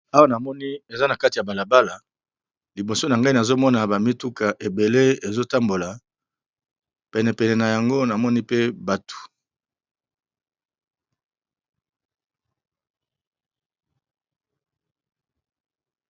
awa namoni eza na kati ya balabala liboso na ngai nazomona bamituka ebele ezotambola penepene na yango namoni pe bato